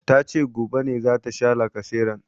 Tace gobe ne zata sha lacaseran